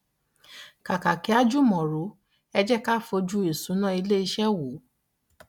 kàkà kí a jùmọ̀ rò ẹ jé ká fojú ìṣúná ilé iṣẹ́ wò.